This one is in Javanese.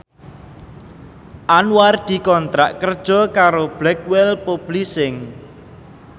Anwar dikontrak kerja karo Blackwell Publishing